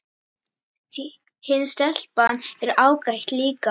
Hin stelpan er ágæt líka